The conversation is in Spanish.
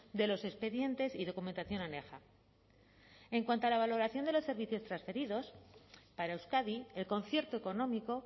de los expedientes y documentación aneja en cuanto a la valoración de los servicios transferidos para euskadi el concierto económico